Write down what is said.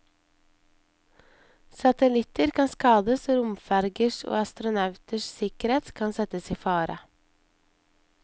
Satellitter kan skades og romfergers og astronauters sikkerhet kan settes i fare.